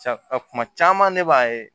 Sa kuma caman ne b'a ye